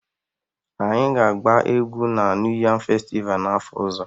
Anyị ga-agba egwu na New Yam Festival n'afọ ọzọ